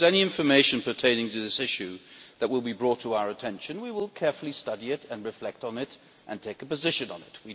If any information pertaining to this issue is brought to our attention, we will carefully study it and reflect on it and take a position on it.